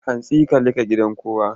Hantsi ka leƙa gidan kowa!